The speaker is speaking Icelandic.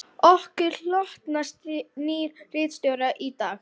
Okkur hlotnast nýr ritstjóri í dag